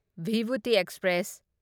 Vibhuti express